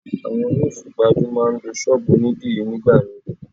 Àwọn oní ìfipajú máa ń lo Ṣọ́bùù òní dìrí ní ìgbà míì.